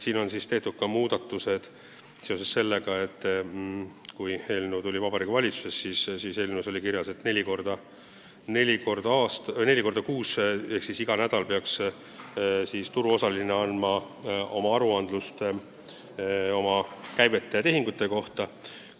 Muudatusi pakutakse ka seoses sellega, et kui eelnõu tuli Vabariigi Valitsusse, siis oli selles kirjas, et neli korda kuus ehk siis iga nädal peaks turuosaline esitama aruande käivete ja tehingute kohta.